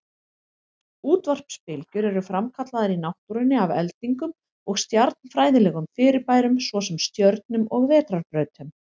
Útvarpsbylgjur eru framkallaðar í náttúrunni af eldingum og stjarnfræðilegum fyrirbærum, svo sem stjörnum og vetrarbrautum.